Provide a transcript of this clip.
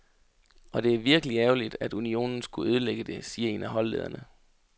Og det er virkelig ærgerligt, at unionen skulle ødelægge det, siger en af holdlederne.